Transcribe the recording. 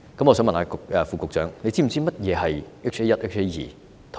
我想問局長是否知悉，何謂 HA1 和 HA2？